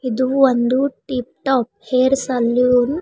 ಇದು ಒಂದು tip top hair salon .